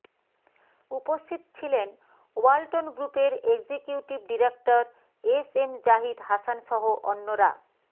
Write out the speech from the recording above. উপস্থিত ছিলেন ওয়ালটন গ্রুপের executive director S M Zahid হাসানসহ অন্যরা